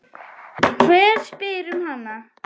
Hver spyr um hana?